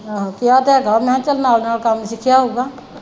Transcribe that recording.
ਆਹੋ ਕਿਹਾ ਤੇ ਹੈਗਾ ਮੈਂ ਚੱਲ ਨਾਲ ਨਾਲ ਕੰਮ ਸਿਖਿਆ ਹੋਊਗਾ ।